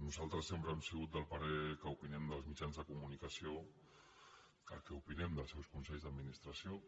nosaltres sempre hem sigut del parer que opinem dels mitjans de comunicació el que opinem dels seus consells d’administració